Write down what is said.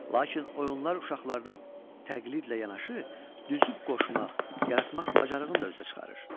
Lakin oyunlar uşaqlarda təqlidlə yanaşı, düzüb-qoşmaq, yaratmaq bacarığını da üzə çıxarır.